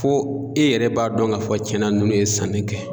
Fo e yɛrɛ b'a dɔn k'a fɔ tiɲɛn na nunnu ye sanni kɛ.